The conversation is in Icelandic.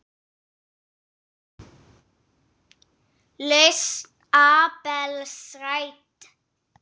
Lausn Abels rædd